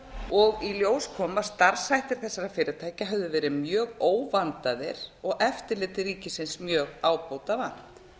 og í ljós kom að starfshættir þessara fyrirtækja höfðu verið mjög óvandaðir og eftirliti ríkisins mjög ábótavant